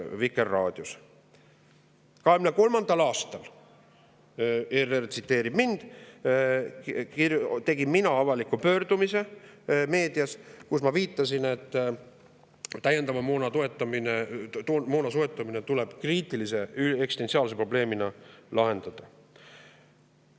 2023. aastal, ERR tsiteerib mind, tegin mina avaliku pöördumise meedias, kus ma viitasin, et täiendava moona soetamine tuleb kriitilise eksistentsiaalse probleemina lahendada.